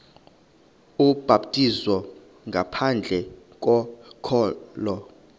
ubhaptizo ngaphandle kokholo